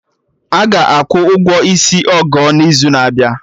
Aga akwụ ụgwọ isi Ogo n'izu na-abịa